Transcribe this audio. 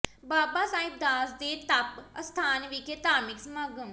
ਬਾਬਾ ਸਾਹਿਬ ਦਾਸ ਦੇ ਤਪ ਅਸਥਾਨ ਵਿਖੇ ਧਾਰਮਿਕ ਸਮਾਗਮ